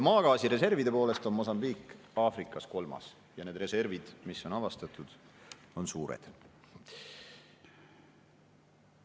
Maagaasi reservide poolest on Mosambiik Aafrikas kolmas ja need reservid, mis on avastatud, on suured.